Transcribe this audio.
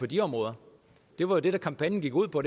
de områder det var det kampagnen gik ud på